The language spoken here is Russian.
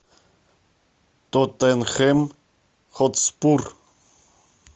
тоттенхэм хотспур